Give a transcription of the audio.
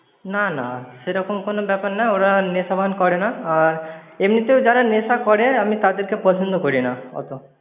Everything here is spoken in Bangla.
না, না, সেরকম কোনো ব্যাপার না ওরা নেশা ভান করেনা। আর এমনিতেও যারা নেশা করে আমি তাদেরকে পছন্দ করিনা অতো।